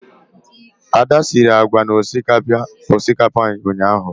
Ada siri agwa na osikapa ụnyahụ.